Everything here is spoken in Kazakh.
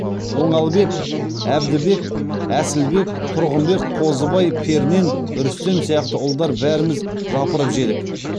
оңалбек әбдібек әсілбек тұрғынбек қозыбай пернен рүстем сияқты ұлдар бәріміз жапырып жедік